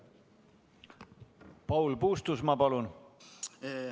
Paul Puustusmaa, palun!